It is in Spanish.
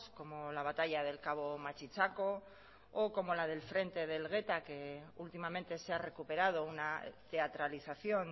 como la batalla del cabo matxitxako o como la del frente de elgeta que últimamente se ha recuperado una teatralización